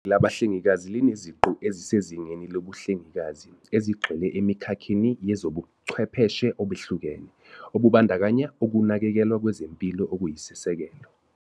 Labahlengikazi lineziqu ezisezingeni lobuhlengikazi, ezigxile emikhakheni yezobuchwepheshe obehlukene, obubandakanya ukunakekelwa kwezempilo okuyisisekelo.